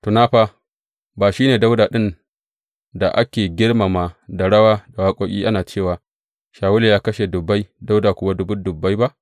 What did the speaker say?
Tuna fa, ba shi ne Dawuda ɗin da ake girmama da rawa da waƙoƙi ana cewa, Shawulu ya kashe dubbai, Dawuda kuwa dubbun dubbai ba’?